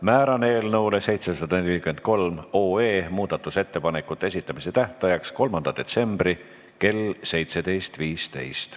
Määran eelnõu 743 muudatusettepanekute esitamise tähtajaks 3. detsembri kell 17.15.